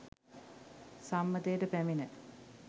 සම්මතයට පැමිණ